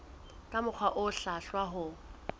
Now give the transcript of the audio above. ka mokgwa o hlwahlwa ho